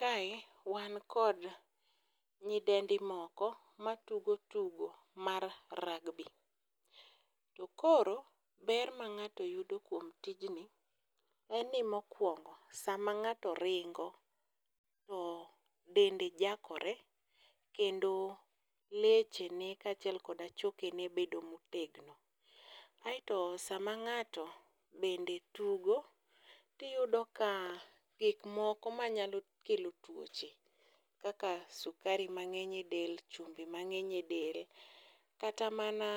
Kae wan kod nyidendi moko matugo tugo mar rugby, to koro ber ma ng'ato yudo kuom tijni en ni mokwongo sama ng'ato ringo, to dende jakore, kendo lechene kachiel koda chokene bedo motegno. Aeto sama ng'ato bende tugo, tiyudo ka gikmoko manyalo kelo tuoche kaka sukari mang'eny e del, chumbi mang'eny e del, kata mana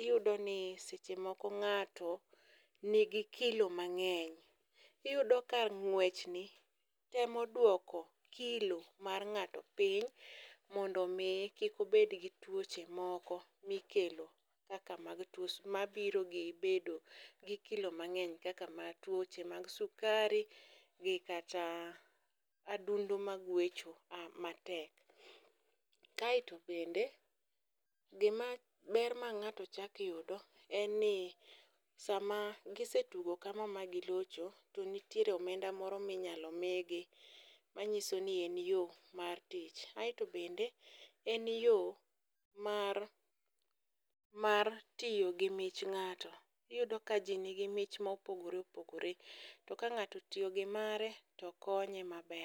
iyudo ni seche moko ng'ato nigi kilo mang'eny. Iyudo ka ng'wechni temo dwoko kilo mar ng'ato piny mondo omi kik obedgi tuoche moko mikelo kaka mabiro bedo gi kilo mang'eny kaka tuoche mag sukari gi kata adundo magwecho matek, kaeto bende ber ma ng'ato chako yudo en ni sama gisetugo kama ma gilocho, to nitiere omenda moro minyalo migi manyiso ni en yo mar tich, aeto bende en yo mar tiyo gi mich ng'ato, iyudo ka ji nigi mich ma opogore opogore. To ka ng'ato otiyo gi mare to konye maber.